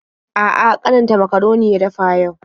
A'a, ƙaninta makaroni ya dafa yau.